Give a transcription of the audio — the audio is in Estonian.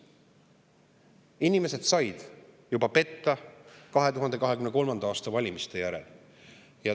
Inimesed said juba petta 2023. aasta valimiste järel.